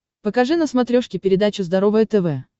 покажи на смотрешке передачу здоровое тв